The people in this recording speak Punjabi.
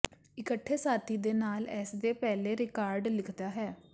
ਇਕੱਠੇ ਸਾਥੀ ਦੇ ਨਾਲ ਇਸ ਦੇ ਪਹਿਲੇ ਰਿਕਾਰਡ ਲਿਖਦਾ ਹੈ